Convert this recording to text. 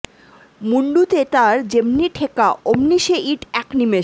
মুন্ডুতে তার যেম্নি ঠেকা অম্নি সে ইট্ এক নিমিষে